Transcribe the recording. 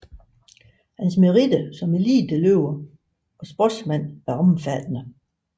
Hans meritter som eliteløber og sportsmand er omfattende